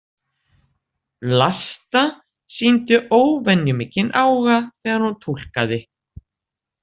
Vlasta sýndi óvenju mikinn áhuga þegar hún túlkaði.